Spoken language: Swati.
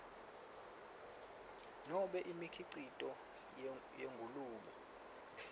nobe imikhicito yengulube